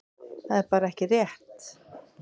Það er bara ekki rétt.